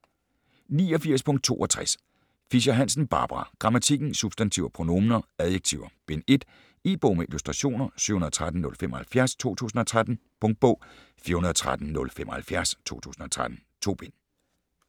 89.62 Fischer-Hansen, Barbara: Grammatikken: Substantiver, pronominer, adjektiver: Bind 1 E-bog med illustrationer 713075 2013. Punktbog 413075 2013. 2 bind.